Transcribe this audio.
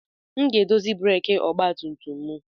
M ga-edozi breeki ọgba tum tum m.